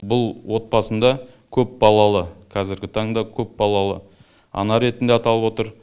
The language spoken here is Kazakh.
бұл отбасында көпбалалы қазіргі таңда көпбалалы ана ретінде аталып отыр